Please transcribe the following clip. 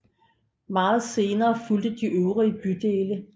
Meget senere fulgte de øvrige bydele